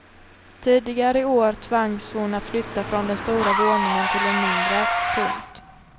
Tidigare i år tvangs hon att flytta från den stora våningen till en mindre. punkt